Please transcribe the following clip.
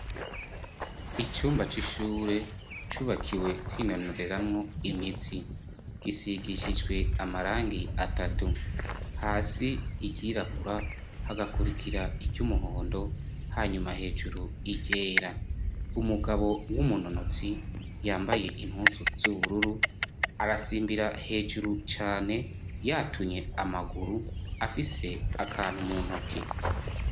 Icumba c'ishure cubakiwe kwinonoreramwo imitsi gisigishijwe amarangi atatu hasi iryirabura hagakurikira iry'umuhondo hanyuma hejuru iryera, umugabo w'umunonotsi yambaye impuzu z'ubururu arasimbira hejuru cane yatunye amaguru afise akantu mu ntoke.